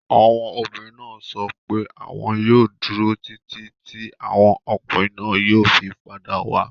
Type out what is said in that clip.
Àwọn obìnrin náà sọ pé àwọn yóò dúró títí tí àwọn ọkùnrin náà yóò fi padà wá.